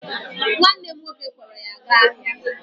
Nwanne m nwoke kpọọrọ ya gaa ahịa